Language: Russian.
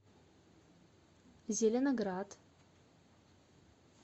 зеленоград